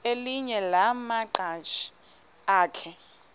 elinye lamaqhaji akhe